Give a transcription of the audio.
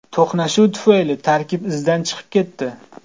To‘qnashuv tufayli tarkib izdan chiqib ketdi.